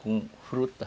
com fruta.